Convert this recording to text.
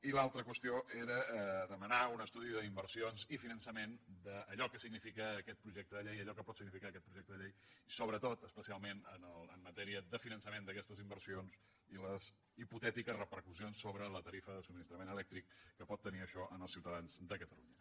i l’altra qüestió era demanar un estudi d’inversions i finançament d’allò que significa aquest projecte de llei allò que pot significar aquest projecte de llei i sobretot especialment en matèria de finançament d’aquestes inversions i les hipotètiques repercussions sobre la tarifa de subministrament elèctric que pot tenir això per als ciutadans de catalunya